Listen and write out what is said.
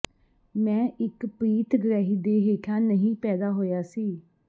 ਮੈਂ ਇੱਕ ਪ੍ਰੀਤ ਗ੍ਰਹਿ ਦੇ ਹੇਠਾਂ ਨਹੀਂ ਪੈਦਾ ਹੋਇਆ ਸੀ